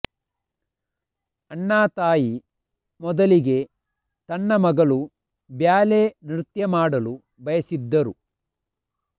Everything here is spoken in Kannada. ಅಣ್ಣಾ ತಾಯಿ ಮೊದಲಿಗೆ ತನ್ನ ಮಗಳು ಬ್ಯಾಲೆ ನೃತ್ಯ ಮಾಡಲು ಬಯಸಿದ್ದರು